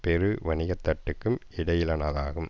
பெரு வணிக தட்டுக்கும் இடையிலானதாகும்